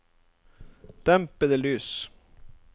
dempede lys